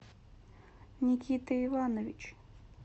никита иванович